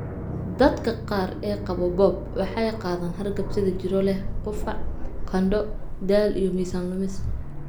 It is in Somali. Dadka qaar ee qaba BOOP waxay qaadaan hargab sida jirro leh qufac, qandho, daal, iyo miisaan lumis.